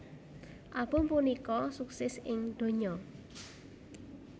Album punika sukses ing donya